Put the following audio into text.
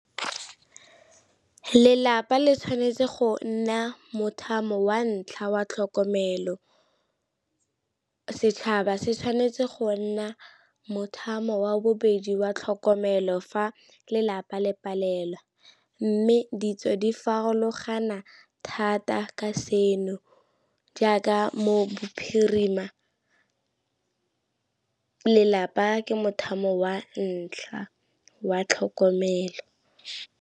Lelapa le tshwanetse go nna mothamo wa ntlha wa tlhokomelo, setšhaba se tshwanetse go nna mothamo wa bobedi wa tlhokomelo fa lelapa le palelwa. Mme ditso di farologana thata ka seno jaaka mo bophirima, lelapa ke motshameko wa ntlha wa tlhokomelo.